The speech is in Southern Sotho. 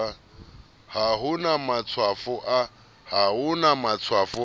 ha ho na matshwafo a